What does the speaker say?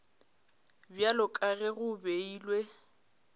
bjalo ka ge go beilwe